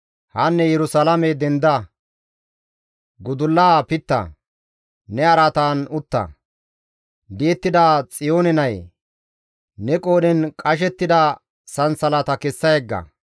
Hanne Yerusalaame, denda; gudullaa pitta; ne araatan utta. Di7ettida Xiyoone nayee, ne qoodhen qashettida sansalata kessa yegga.